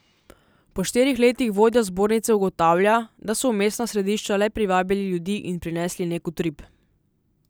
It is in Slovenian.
Po štirih letih vodja zbornice ugotavlja, da so v mestna središča le privabili ljudi in prinesli nek utrip.